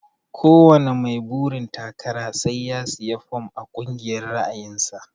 Ko wani mai burin takara sai ya siya fom a kungiyar ra'ayin sa.